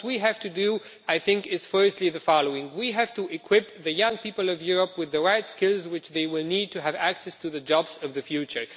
What we have to do is firstly the following we have to equip the young people of Europe with the right skills they will need to have access to the jobs of the future.